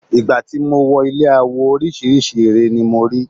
Ìgbà tí mo wọ ilé awo orísìírísìí ère ni mo rí.